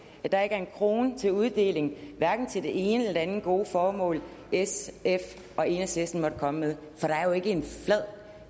at der ikke er en krone til uddeling hverken til det ene eller andet gode formål sf og enhedslisten måtte komme med for der er jo ikke en flad